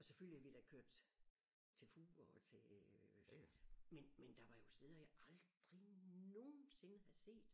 Og selvfølgelig havde vi da kørt til Fur og til øh men men der var jo steder jeg aldrig nogensinde havde set